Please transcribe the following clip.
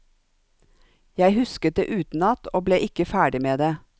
Jeg husket det utenat, og ble ikke ferdig med det.